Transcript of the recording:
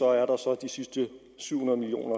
er der så de sidste syv hundrede million